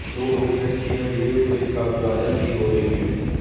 दो मिनट की यह वीडियो क्लिप काफी वायरल भी हो रही है